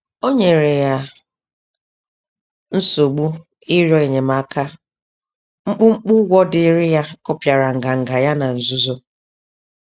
O nyere ya nsogbu ịrịọ enyemaka, mkpumkpu ụgwọ dịịrị ya kụpịara nganga ya na nzuzo.